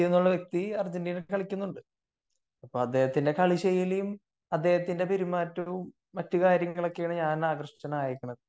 Messi എന്നുള്ളൊരുവ്യക്തി അർജന്റീനക്ക് കളിക്കുന്നുണ്ട് . അപ്പൊ അദ്ദേഹത്തിന്റെ കളി ശൈലിയും അദ്ദേഹത്തിന്റെ പെരുമാറ്റവും മറ്റു കാര്യങ്ങളൊക്കെയാണ് ഞാൻ ആകൃഷ്ടനായിരിക്കുന്നത്